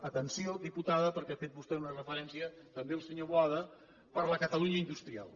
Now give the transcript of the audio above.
atenció diputada perquè hi ha fet vostè una referència també el senyor boada per la catalunya industrial